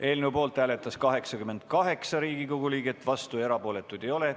Eelnõu poolt hääletas 88 Riigikogu liiget, vastuolijaid ega erapooletuid ei ole.